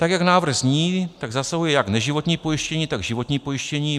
Tak jak návrh zní, tak zasahuje jak neživotní pojištění, tak životní pojištění.